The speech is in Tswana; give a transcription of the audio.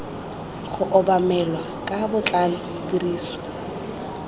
go obamelwa ka botlalo tiriso